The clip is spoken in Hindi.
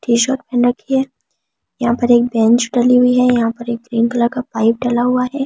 टी-शर्ट पहन रखी है यहां पर एक बेंच डली हुई है यहां पर एक ग्रीन कलर का पाइप डला हुआ है।